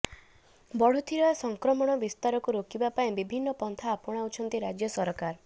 ବଢୁଥିବା ସଂକ୍ରମଣ ବିସ୍ତାରକୁ ରୋକିବା ପାଇଁ ବିଭିନ୍ନ ପନ୍ଥା ଆପଣାଉଛନ୍ତି ରାଜ୍ୟ ସରକାର